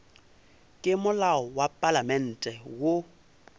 ke molao wa palamente wo